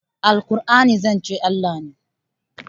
alqur'ani zancen Allah ne?